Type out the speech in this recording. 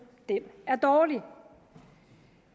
er dårlig